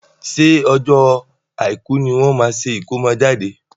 ṣé ọjọ́ Àìkú ní wọ́n máa ṣe ìkómọjáde?